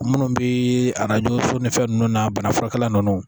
Munnu bee arajo so ni fɛn nunnu na bana furakɛla nunnu